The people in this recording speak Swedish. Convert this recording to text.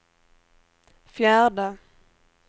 fjärde